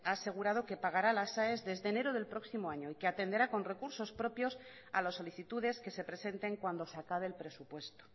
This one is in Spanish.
ha asegurado que pagará las aes desde enero del próximo año y que atenderá con recursos propios a las solicitudes que se presenten cuando se acabe el presupuesto